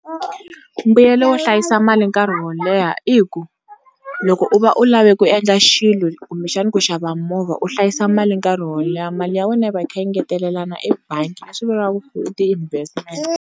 Mbuyelo wo hlayisa mali nkarhi wo leha i ku loko u va u lava ku endla xilo kumbexani ku xava movha u hlayisa mali nkarhi wo leha mali ya wena yi va yi kha yi ngetelelana ebangi va swi vula ku i investment.